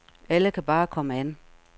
Alle kan bare komme an.